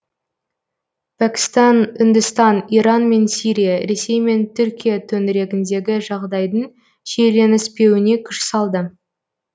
пәкістан үндістан иран мен сирия ресей мен түркия төңірегіндегі жағдайдың шиеленіспеуіне күш салды